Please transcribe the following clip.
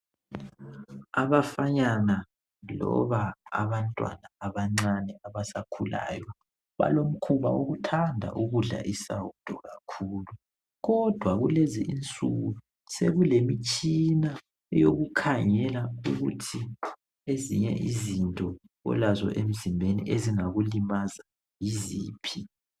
Abafanyana loba abantwana abancane abasakhulayo balomkhuba wokuthanda ukudla isawudo kakhulu kodwa kulezi insuku sekulemitshina eyokukhangela ukuthi ezinye izinto. olazo emzimbeni ezingakulimaza yiziphi.